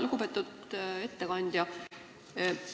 Lugupeetud ettekandja!